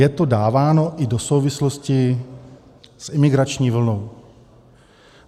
Je to dáváno i do souvislosti s imigrační vlnou.